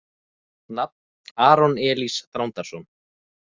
Nafn: Aron Elís Þrándarson